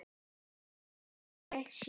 Hann spyr hvar ég sé.